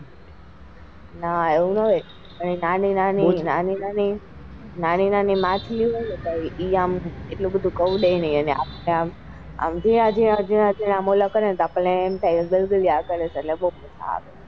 નાં એવું નાં હોય એ નાની ની માછલી એ આમ એટલી બધી ગૌ લે ની ને આમ જીણાજીણા મૌલા કરે ને એટલે આપણને એમ થાય કે ગલાગલ્યા કરે છે.